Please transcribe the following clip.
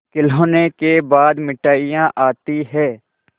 खिलौनों के बाद मिठाइयाँ आती हैं